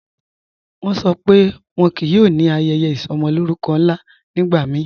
Wọ́n ṣọ́ pé wọ́n kíí yóò ní ayẹyẹ isọmọlórùkọ́ nla nígbàmíì